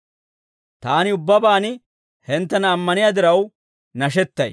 Taani ubbabaan hinttena ammaniyaa diraw nashettay.